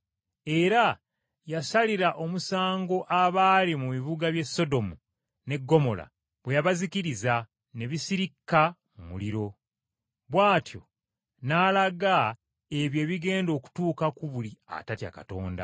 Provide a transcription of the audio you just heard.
Era yasalira omusango abaali mu bibuga by’e Sodomu n’e Ggomola bwe yabazikiriza, ne bisirikka mu muliro, bw’atyo n’alaga ebyo ebigenda okutuuka ku buli atatya Katonda.